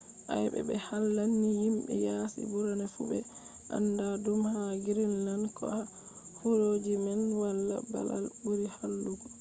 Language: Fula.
ayebe be hallande ni himbe yaasi burna fu be anda dum ha greenland. ko ha wuroji man wala babal buri hallugo.